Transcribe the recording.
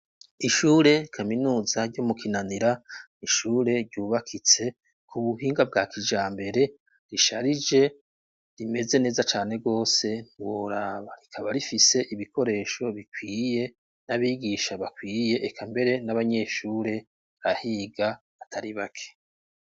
Ishure kaminuza ryo mu kinanira, ishure ryubakitse ku buhinga bwa kijambere risharije rimeze neza cane gose ntiworaba. Rikaba rifise ibikoresho bikwiye, n'abigisha bakwiye, eka mbere n'abanyeshure bahiga atari bake.